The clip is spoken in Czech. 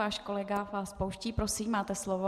Váš kolega vás pouští, prosím, máte slovo.